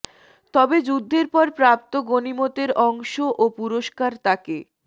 তবে যুদ্ধের পর প্রাপ্ত গনীমতের অংশ ও পুরস্কার তাকে